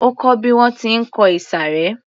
Ó kó bí wọ́n ti ń kọ ìsàré